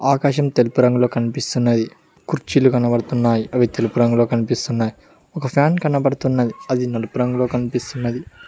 ఆకాశం తెలుపు రంగులో కనిపిస్తున్నది కుర్చీలు కనబడుతున్నాయి అవి తెలుపు రంగులో కనిపిస్తున్నాయి ఒక ఫ్యాన్ కనపడుతున్నది అది నలుపు రంగులో కనిపిస్తున్నది.